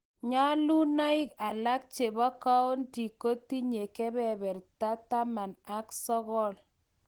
Nytalunoik alak chebo kaonti kotinye kebeberta taman ak sogol